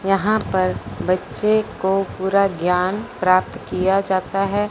यहां पर बच्चे को पूरा ज्ञान प्राप्त किया जाता है।